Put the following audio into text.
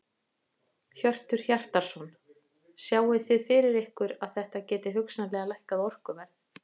Hjörtur Hjartarson: Sjáið þið fyrir ykkur að þetta gæti hugsanlega lækkað orkuverð?